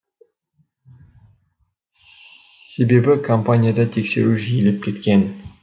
себебі компанияда тексеру жиілеп кеткен